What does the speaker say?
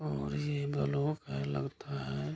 और ये ब्लॉक है लगता है।